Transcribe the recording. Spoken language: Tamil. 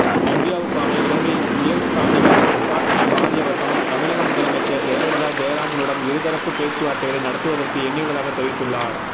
இந்தியாவுக்கான இலங்கை உயர்ஸ்தானிகர் பிரசாத் காரியவசம் தமிழக முதலமைச்சர் ஜெயலலிதா ஜெயராமுடன் இருதரப்பு பேச்சுவார்த்தைகளை நடத்துவதற்கு எண்ணியுள்ளதாக தெரிவித்துள்ளார்